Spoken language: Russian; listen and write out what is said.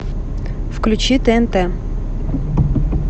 включи тнт